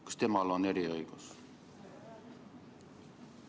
Kas temal on eriõigus?